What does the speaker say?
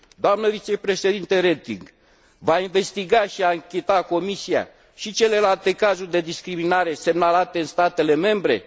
Doamnă vicepreședintă Reding, va investiga și ancheta Comisia și celelalte cazuri de discriminare semnalate în statele membre?